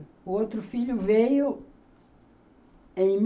O outro filho veio em